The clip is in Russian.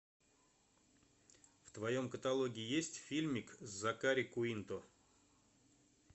в твоем каталоге есть фильмик с закари куинто